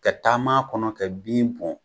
Ka taama kɔnɔ kɛ bin bɔn